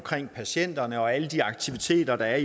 patienterne og alle de aktiviteter der